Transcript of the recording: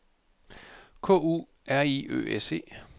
K U R I Ø S E